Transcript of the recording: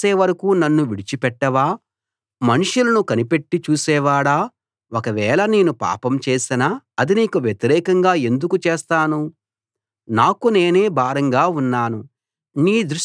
మనుషులను కనిపెట్టి చూసే వాడా ఒకవేళ నేను పాపం చేసినా అది నీకు వ్యతిరేకంగా ఎందుకు చేస్తాను నాకు నేనే భారంగా ఉన్నాను నీ దృష్టి నాపై ఎందుకు నిలిపావు